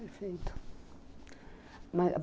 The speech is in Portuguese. Perfeito.